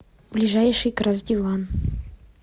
ближайший красдиван